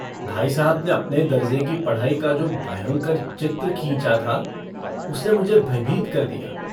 भाई साहब ने अपने दरजे की पढ़ाई का जो भयंकर चित्र खींचा था उसने मुझे भयभीत कर दिया।